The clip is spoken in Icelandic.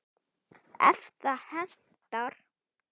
ef það hentar!